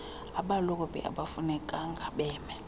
abalobi akufunekanga beme